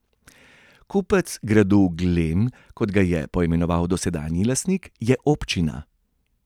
Kupec gradu Glem, kot ga je poimenoval dosedanji lastnik, je občina.